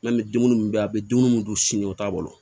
N'an bɛ dumuni min kɛ a bɛ dumuni minnu dun sini o t'a bolo